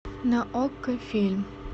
на окко фильм